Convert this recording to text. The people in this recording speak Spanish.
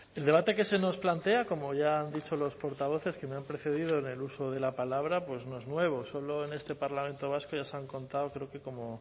el debate que se nos plantea como ya han dicho los portavoces que me han precedido en el uso de la palabra pues no es nuevo solo en este parlamento vasco ya se han contado creo que como